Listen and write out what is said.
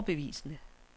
overbevisende